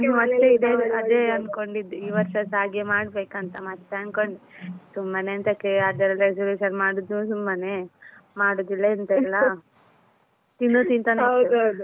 ಅದೇ ಅನ್ಕೊಂಡಿದ್ದೆ ಈ ವರ್ಷಸ ಹಾಗೆ ಮಾಡ್ಬೇಕಂತ ಮತ್ತೆ ಅನ್ಕೊಂಡೆ ಸುಮ್ಮನೆ ಎಂತಕ್ಕೆ resolution ಮಾಡುದು ಸುಮ್ಮನೆ ಮಾಡುದು ಇಲ್ಲ ಎಂತ ಇಲ್ಲ .